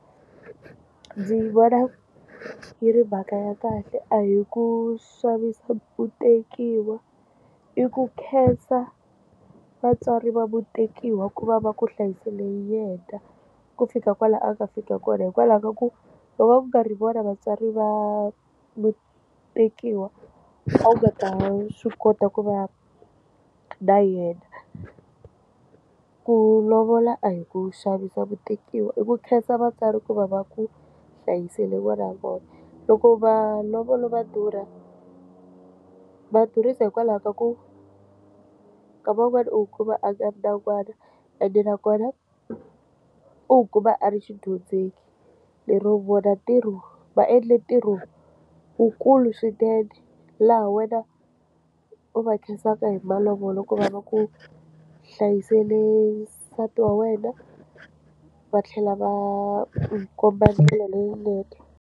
Ndzi vona yi ri mhaka ya kahle a hi ku xavisa mutekiwa i ku khensa vatswari va mutekiwa ku va va ku hlayisele yena ku fika kwalano a ka fika kona hikwalaho ka ku loko va ku nga ri vona vatswari va tekiwa a nga ta swi kota ku va na yena ku lovola a hi ku xavisa mutekiwa i ku khensa vatswari ku va va ku hlayiseliwa ra vona loko vana va vona va durha ku va durhisa hikwalaho ka ku ka van'wana u kuma akani nakona ene nakona u kuma a ri xidyondzeki lero vona ntirho va endle ntirho lowukulu swinene laha wena u va khenseka hi malovolo ko va ku hlayisele nsati wa wena va tlhela va n'wi komba ndlela leyinene.